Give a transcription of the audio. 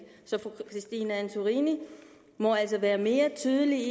så fru christine antorini må altså være mere tydelig